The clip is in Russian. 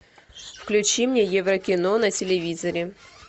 включи мне еврокино на телевизоре